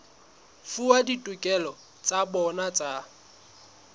fuwa ditokelo tsa bona tsa